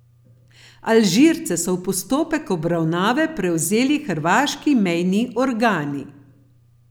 Alžirce so v postopek obravnave prevzeli hrvaški mejni organi.